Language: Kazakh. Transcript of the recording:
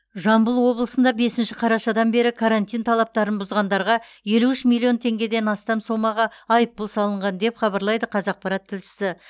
жамбыл облысында бесінші қарашадан бері карантин талаптарын бұзғандарға елу үш миллион теңгеден астам сомаға айыппұл салынған деп хабарлайды қазақпарат тілшісі